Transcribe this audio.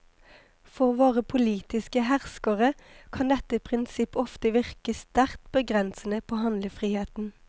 For våre politiske herskere, kan dette prinsipp ofte virke sterkt begrensede på handlefriheten.